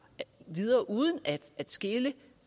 videre uden at skele